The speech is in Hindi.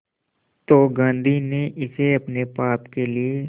तो गांधी ने इसे अपने पाप के लिए